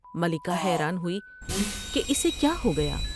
ملکہ حیران ہوئی کہ اسے کیا ہو گیا ۔